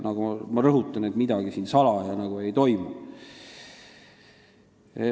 Ma rõhutan, et midagi siin salaja ei toimu.